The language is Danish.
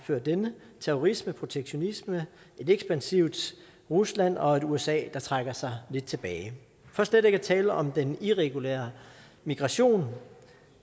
før denne terrorisme protektionisme et ekspansivt rusland og et usa der trækker sig lidt tilbage for slet ikke at tale om den irregulære migration